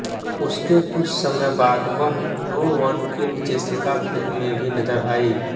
उसके कुछ समय बाद वह no one killed Jessica film में भी नजर आईं